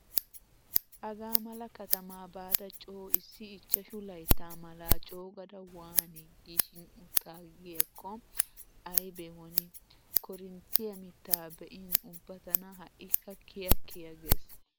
Hagaa mala katamaa baada coo issi ichchashu laytta malaa coogada waani giishin uttaagiyaakko aybe woni. Korinttiya mittaa be'in ubba tana ha"ikka kiya kiya gees.